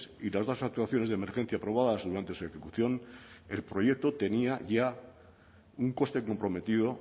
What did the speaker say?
y las dos actuaciones de emergencia aprobadas durante su ejecución el proyecto tenía ya un coste comprometido